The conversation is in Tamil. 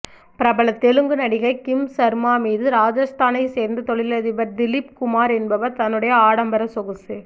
பிரபல தெலுங்கு நடிகை கிம்சர்மா மீது ராஜஸ்தானை சேர்ந்த தொழிலதிபர் திலீப் குமார் என்பவர் தன்னுடைய ஆடம்பர சொகுசு